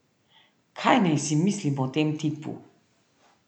Kaj naj si mislim o tem tipu?